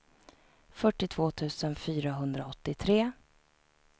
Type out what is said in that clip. fyrtiotvå tusen fyrahundraåttiotre